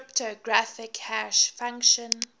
cryptographic hash function